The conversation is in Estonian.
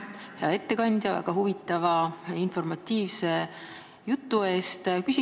Aitäh, hea ettekandja, väga huvitava informatiivse jutu eest!